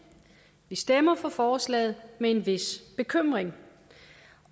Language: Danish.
stemmer for forslaget med en vis bekymring